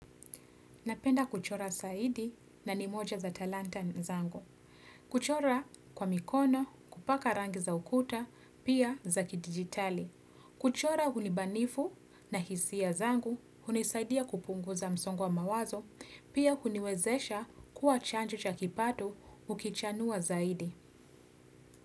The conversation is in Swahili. Napenda kuchora zaidi na ni moja za talanta zangu. Kuchora kwa mikono, kupaka rangi za ukuta, pia za kidijitali. Kuchora hunibanifu na hisia zangu, hunisaidia kupunguza msongo wa mawazo, pia huniwezesha kuwa chanjo cha kipato ukichanua zaidi.